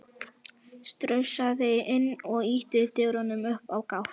Strunsaði inn og ýtti dyrunum upp á gátt.